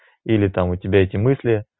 или там у тебя эти мысли